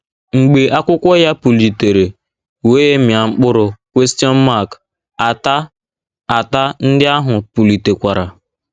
Mgbe akwụkwọ ya pulitere wee mịa mkpụrụ, ata, ata ndị ahụ pulitekwara.